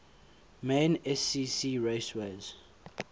main scca raceways